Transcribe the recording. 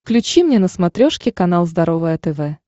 включи мне на смотрешке канал здоровое тв